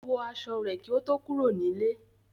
Ó wọ aṣọ rẹ̀ kí ó tó kúrò nílé.